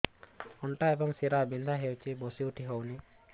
ଅଣ୍ଟା ଏବଂ ଶୀରା ବିନ୍ଧା ହେଉଛି ବସି ଉଠି ହଉନି